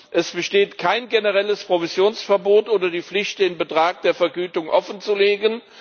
Es besteht kein generelles Provisionsverbot oder die Pflicht, den Betrag der Vergütung offenzulegen.